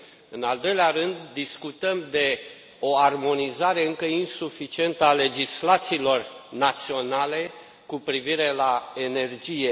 În al doilea rând, discutăm de o armonizare încă insuficientă a legislațiilor naționale cu privire la energie.